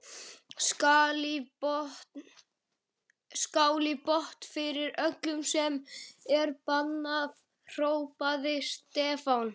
Skál í botn fyrir öllu sem er bannað! hrópaði Stefán.